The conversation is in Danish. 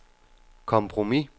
kompromis